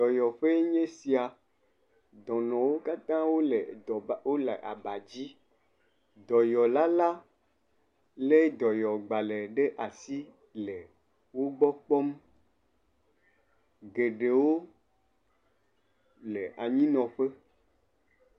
Dɔyɔƒee nye sia. Dɔnɔwo katã wòle aba dzi. Dɔyɔla le dɔyɔgbalẽ ɖe asi le wògbɔ kpɔm. Geɖewo le anyi nɔƒe.